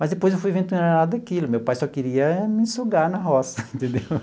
Mas depois eu fui vendo que não era nada daquilo, meu pai só queria me sugar na roça, entendeu?